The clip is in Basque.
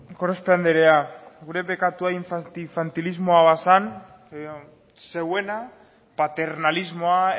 gorospe andrea gure bekatua infantilismoa bazan zeuena paternalismoa